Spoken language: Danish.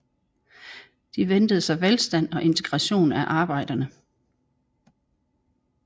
De ventede sig velstand og integration af arbejderne